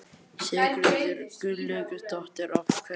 Sigríður Guðlaugsdóttir: Af hverju?